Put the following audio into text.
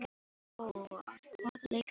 Góa, hvaða leikir eru í kvöld?